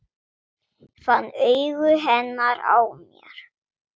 Fann augu hennar á mér.